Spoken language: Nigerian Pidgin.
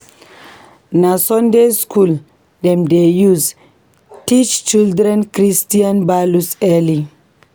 Na Sunday school dem dey use teach children Christian values early.